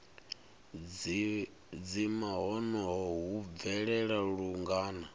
dzima honoho hu bvelela lungana